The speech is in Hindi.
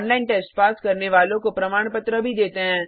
ऑनलाइन टेस्ट पास करने वालों को प्रमाण पत्र भी देते हैं